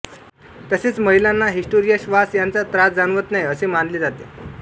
तसेच महिलांना हिस्टेरिया श्वास यांचा त्रास जाणवत नाही असे मानले जाते